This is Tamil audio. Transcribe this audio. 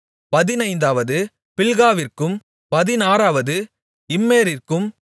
பதினைந்தாவது பில்காவிற்கும் பதினாறாவது இம்மேரிற்கும்